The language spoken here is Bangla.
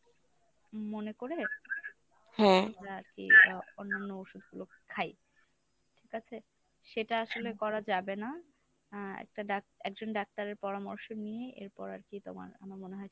মনে করে আমরা আরকি আহ অন্যান্য ওষুধ গুলো খাই। ঠিক আছে? সেটা আসলে করা যাবে না। আহ একটা doc একজন doctor এর পরামর্শ নিয়ে এরপর আরকি তোমার আমার মনে হয়